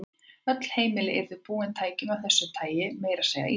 Öll heimili yrðu búin tækjum af þessu tagi, meira að segja á Íslandi.